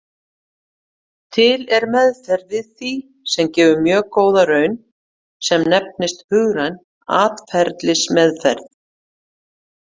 Til er meðferð við því sem gefur mjög góða raun sem nefnist hugræn atferlismeðferð.